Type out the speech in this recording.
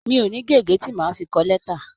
Mi ò ní gègé tí màá fi kọ lẹ́tà.